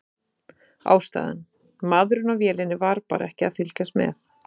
Ástæðan: Maðurinn á vélinni var bara ekki að fylgjast með.